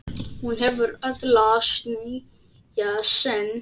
Hún hefur öðlast nýja sýn.